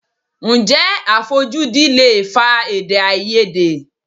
Ǹjẹ́ àfojúdi lè fa Èdèáiyedé?